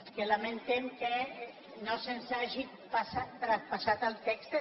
és que lamentem que no se’ns hagi traspas·sat el text